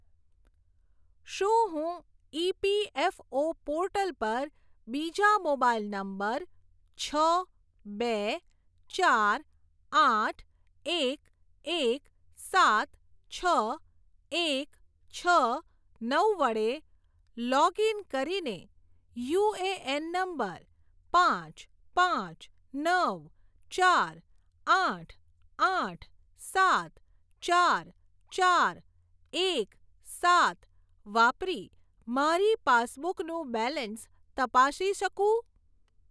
શું હું EPFO portal પર બીજા મોબાઈલ નંબર છ બે ચાર આઠ એક એક સાત છ એક છ નવ વડે લોગઇન કરીને યુએએન નંબર પાંચ પાંચ નવ ચાર આઠ આઠ સાત ચાર ચાર એક સાત વાપરી મારી પાસબુકનું બેલેન્સ તપાસી શકું?